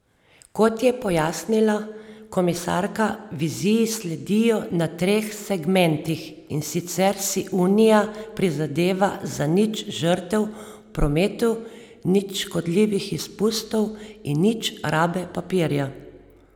Kot je pojasnila komisarka, viziji sledijo na treh segmentih, in sicer si unija prizadeva za nič žrtev v prometu, nič škodljivih izpustov in nič rabe papirja.